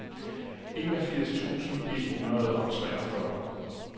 enogfirs tusind et hundrede og treogfyrre